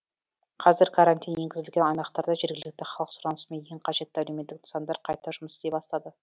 қазір карантин енгізілген аймақтарда жергілікті халық сұранысымен ең қажетті әлеуметтік нысандар қайта жұмыс істей бастады